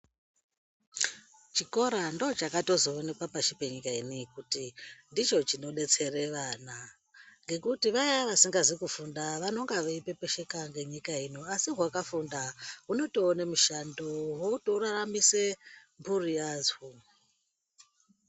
Chikora ndochakatozoonekwa pashi penyika ineyi kuti ndicho chinodetsere vana ngekuti vaya vasingazi kufunda vanonga veipepesheka ngenyika ino asi hwakafunda hunotoone mishando hotoraramise mburi yadzo.